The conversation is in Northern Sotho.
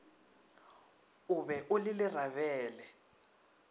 o be o le lerabele